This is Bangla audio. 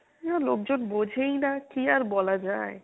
লোকজন বোঝেই না কী আর বলা যায়।